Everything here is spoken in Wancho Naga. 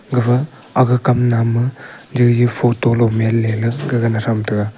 gafa aga kam nap maa jaijai photo lomhian le la gagan atham taga.